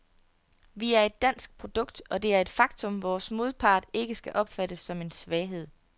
Vi er et dansk produkt, og det er et faktum, vores modpart ikke skal opfatte som en svaghed.